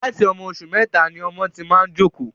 Láti ọmọ oṣù mẹta ni ọmọ ti máa ń jókòó